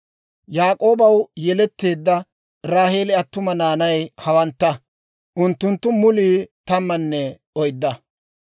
Yaak'oobaw yeletteedda Raaheeli attuma naanay hawantta; unttunttu mulii tammanne oydda.